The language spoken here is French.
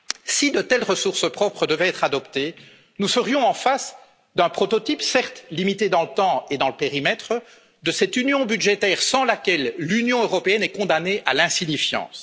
Si de telles ressources propres devaient être adoptées, nous serions en présence d'un prototype certes limité dans le temps et dans le périmètre de cette union budgétaire sans laquelle l'Union européenne est condamnée à l'insignifiance.